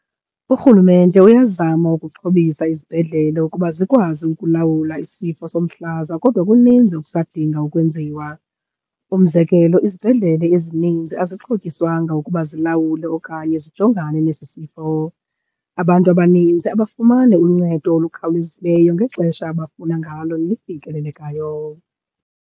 Urhulumente uyazama ukuxhobisa izibhedlele ukuba zikwazi ukulawula isifo somhlaza kodwa kuninzi okusadinga ukwenziwa. Umzekelo izibhedlele ezininzi azixhotyiswanga ukuba zilawule okanye zijongane nesi sifo. Abantu abanintsi abafumani uncedo olukhawulezileyo ngexesha abafuna ngalo, lifikelelekayo.